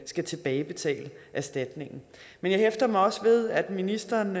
skal tilbagebetale erstatningen men jeg hæfter mig også ved at ministeren